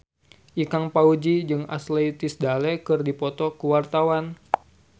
Ikang Fawzi jeung Ashley Tisdale keur dipoto ku wartawan